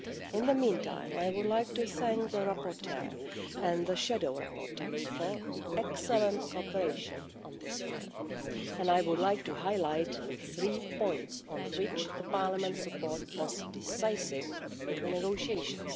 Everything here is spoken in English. In the meantime, I would like to thank the rapporteur and the shadow rapporteurs for the excellent cooperation on this proposal. I would like to highlight three points on which Parliament's support was decisive in the negotiations.